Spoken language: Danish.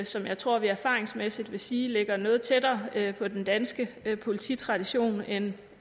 som jeg tror vi erfaringsmæssigt vil sige ligger noget tættere på den danske polititradition end